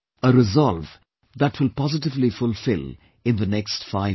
A resolve that we will positively fulfil in the next five years